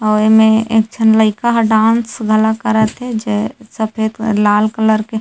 आऊ एमे एक झन लइका ह डांस घलोक करत हे जे सफ़ेद व लाल कलर के--